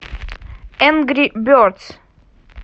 энгри бердс